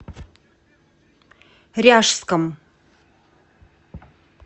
ряжском